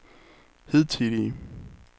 hidtidige